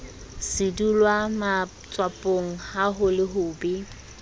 sedulwamatswapong ha ho le hobe